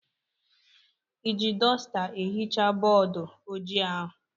I ji dọsta ehichaa bọọdụ ojii ahụ?